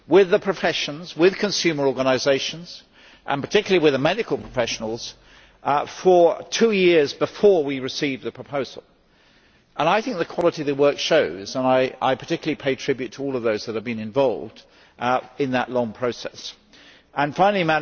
the professions, consumer organisations and particularly with the medical professionals for two years before we received the proposal. I think the quality of work shows, and I pay particular tribute to all of those who have been involved in that long process. Finally,